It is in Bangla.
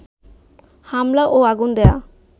হামলা ও আগুন দেয়া